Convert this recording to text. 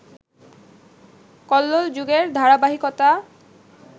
কল্লোল যুগের ধারাবাহিকতা